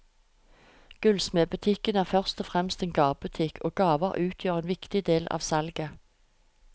Gullsmedbutikken er først og fremst en gavebutikk, og gaver utgjør en viktig del av salget.